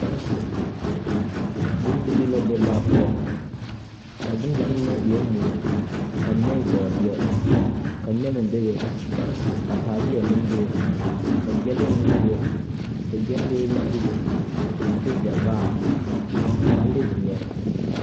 Bondirii la be laa poɔ. A bondirii ŋa mine e la mui ka mine e bɔɔdeɛ, nɛmɛ be be, ka taaleɛ be be, ka gyɛlee meŋ be be ka gyɛnlee meŋ be be, a de sɛvaare, a paa de szeɛre.